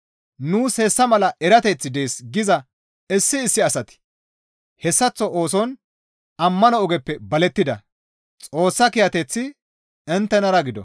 Nuus hessa mala erateththi dees giza issi issi asati hessaththo ooson ammano ogeppe balettida; Xoossa kiyateththi inttenara gido.